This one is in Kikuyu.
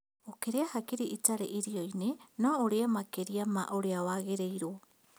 Ũkĩrĩa hakiri itarĩ irio-inĩ no ũrĩe makĩrĩa ma ũrĩa wagĩrĩirwo